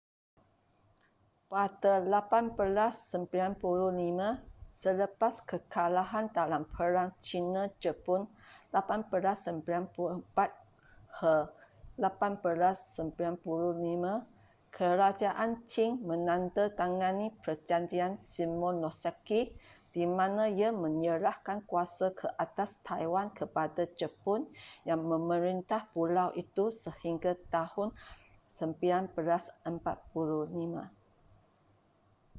pada 1895 selepas kekalahan dalam perang china-jepun 1894-1895 kerajaan qing menandatangani perjanjian shimonoseki di mana ia menyerahkan kuasa ke atas taiwan kepada jepun yang memerintah pulau itu sehingga tahun 1945